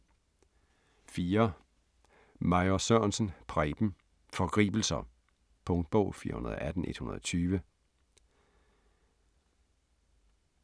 4. Major Sørensen, Preben: Forgribelser Punktbog 418120